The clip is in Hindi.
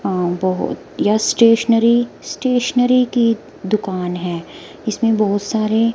आ बहो यह स्टेशनरी स्टेशनरी की दुकान है इसमें बहोत सारे--